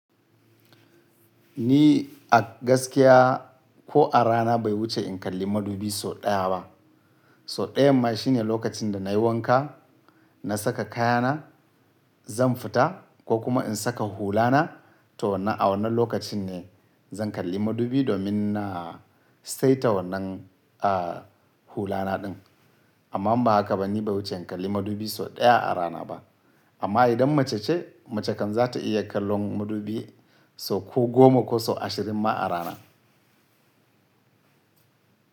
Ni a gaskiya ko a rana bai wuce in kalli madubi sau ɗaya ba. Sau ɗayan ma shine lokacin da nayi wanka, na saka kayana, zan fita ko kuma in saka hulana to wannan a wannan lokacin ne zan kalli madubi domin na saita wannan a hulana ɗin. Amma ba haka ba, ni bai wuce in kalli madubi sau ɗaya a rana ba. Amma idan mace ce, mace kan za ta iya kallon madubi sau ko goma ko sau ashirin ma a rana.